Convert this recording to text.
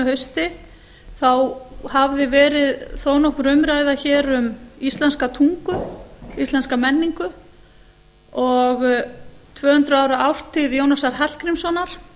hausti þá hafði verið þó nokkur umræða hér um íslenska tungu íslenska menningu og tvö hundruð ára ártíð jónasar hallgrímssonar